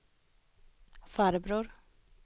farbror